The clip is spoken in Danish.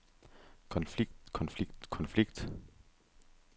konflikt konflikt konflikt